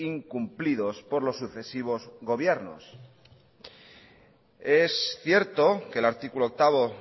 incumplidos por los sucesivos gobiernos es cierto que el artículo octavo